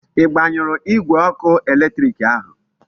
I gbanyuru Igwe oku eletiriki ahu?